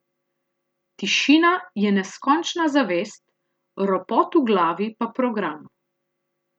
Tišina je neskončna zavest, ropot v glavi pa program.